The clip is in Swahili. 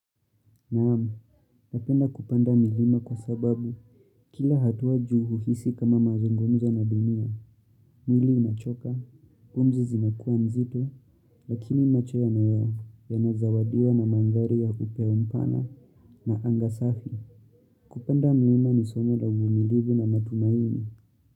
Naamu, napenda kupanda milima kwa sababu kila hatua juu huhisi kama mazungumzo na dunia. Mwili unachoka, pumzi zinakuwa nzito, lakini macho ya moyo yanazawadiwa na mandhari ya upeo mpana na angasafi. Kupanda milima ni somo la uvumilivu na matumaini.